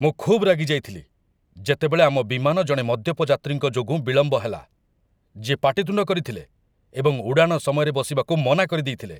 ମୁଁ ଖୁବ୍ ରାଗିଯାଇଥିଲି ଯେତେବେଳେ ଆମ ବିମାନ ଜଣେ ମଦ୍ୟପ ଯାତ୍ରୀଙ୍କ ଯୋଗୁଁ ବିଳମ୍ବ ହେଲା, ଯିଏ ପାଟିତୁଣ୍ଡ କରିଥିଲେ ଏବଂ ଉଡ଼ାଣ ସମୟରେ ବସିବାକୁ ମନା କରିଦେଇଥିଲେ।